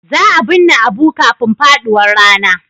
Za a binne Abu kafin faduwar rana.